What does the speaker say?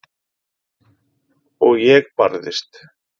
Og ég barðist.